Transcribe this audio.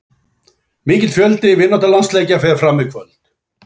Mikill fjöldi vináttulandsleikja fer fram í kvöld.